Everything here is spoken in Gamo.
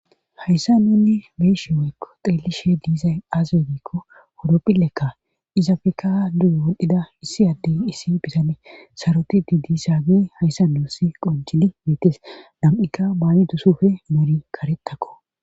Hayssa neenni beesheweykko xeellishe diiza aazaodikko owropphilekka izafekaa duyo wolhdhida issi addey issi bisane saroti didisaage hayssa duossi qonjini miites nam7ikka baayi dusufe meri karettakko